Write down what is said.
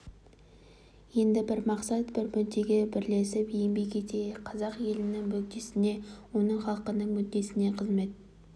енді бір мақсат бір мүддеге бірлесіп еңбек етейік қазақ елінің мүддесіне оның халқының мүддесіне қызмет